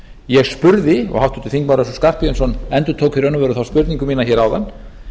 ég spurði og háttvirtur þingmaður össur skarphéðinsson endurtók í raun og veru þá spurningu hér áðan